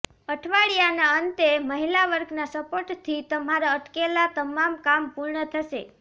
અઠવાડિયાના અંતે મહિલા વર્ગના સપોર્ટથી તમારા અટકેલાં તમામ કામ પૂર્ણ થશે